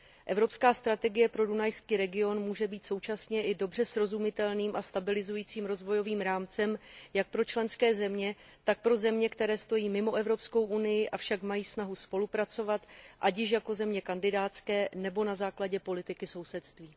Evropská strategie pro dunajský region může být současně i dobře srozumitelným a stabilizujícím rozvojovým rámcem jak pro členské země, tak pro země, které stojí mimo Evropskou unii, avšak mají snahu spolupracovat, ať již jako země kandidátské nebo na základě politiky sousedství.